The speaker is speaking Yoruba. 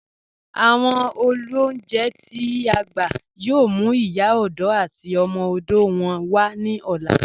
Awọn olúnjẹ̀ t'i a gbà yóò mú Ìyá òdò àti ọmọ òdò wọn wa ni ọ̀lá